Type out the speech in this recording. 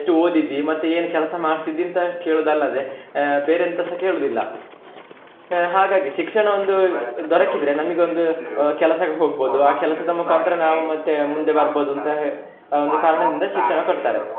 ಓದಿದ್ದಿ ಮತ್ತೆ ಏನು ಕೆಲಸ ಮಾಡ್ತಿದ್ದಿ ಅಂತ ಕೇಳುದು ಅಲ್ಲದೆ ಆಹ್ ಬೇರೆ ಎಂತಸ ಕೇಳುದಿಲ್ಲ. ಆಹ್ ಹಾಗಾಗಿ ಶಿಕ್ಷಣ ಒಂದು ದೊರಕಿದ್ರೆ ನಮಿಗೆ ಒಂದು ಕೆಲಸಕ್ಕೆ ಹೊಗ್ಬೋದು, ಆ ಕೆಲಸದ ಮುಖಾಂತರ ನಾವು ಮತ್ತೆ ಮುಂದೆ ಬರ್ಬೋದು ಅಂತ ಆ ಒಂದು ಕಾರಣದಿಂದ ಶಿಕ್ಷಣ ಕೊಡ್ತಾರೆ.